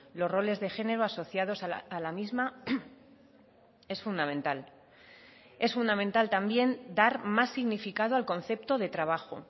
los roles de género asociados a la misma es fundamental es fundamental también dar más significado al concepto de trabajo